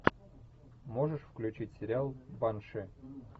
можешь включить сериал банши